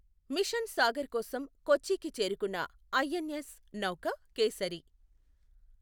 machine Sagar కోసం కొచ్చికి చేరుకున్నఐఎన్ఎస్ నౌక కేసరి